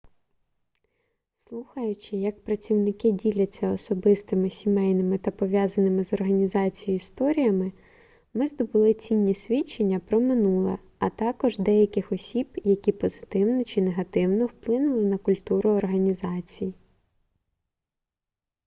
слухаючи як працівники діляться особистими сімейними та пов'язаними з організацією історіями ми здобули цінні свідчення про минуле а також деяких осіб які позитивно чи негативно вплинули на культуру організації